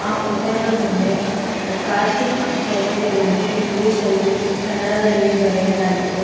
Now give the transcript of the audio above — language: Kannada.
ಆ ಹೋಟೆಲ್ ನ ಮುಂದೆ ಕಾರ್ತಿಕ್ ಹೋಟೆಲ್ ಎಂದು ಇಂಗ್ಲಿಷ್ ಅಲ್ಲಿ ಕನ್ನಡದಲ್ಲಿ ಬರೆಯಲಾಗಿದೆ.